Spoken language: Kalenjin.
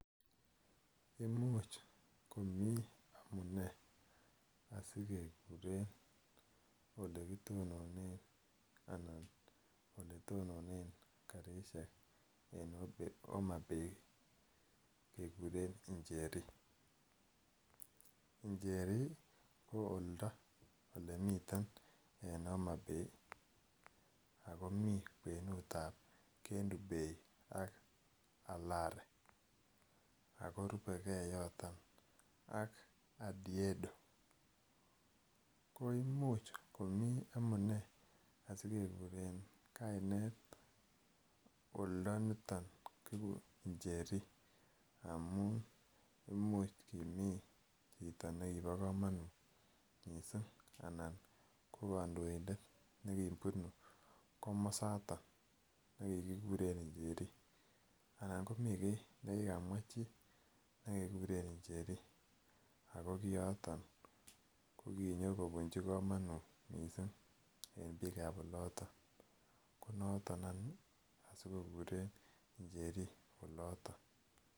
Imuch komii amunee asikekuren elekitononen anan eletononen karisiek en Homabaybkekuren Njeri. Njeri ko oldo elemiten en Homabay ako mi kwenut ab Kendu Bay ak Alari ako rubegee yoton ak Adiedo. Ko imuch komii amunee asikekuren kainet oldo niton kikuren Njeri amun imuch kimii chito nekibo komonut missing anan ko kandoindet nekibunu komosaton nekikikuren Njeri anan komii kiy nekikamwa chii ne kikikuren Njeri ako kioton ko kinyokobunji komonut missing en biik ab oloton konoton any ih asikokuren Njeri oloton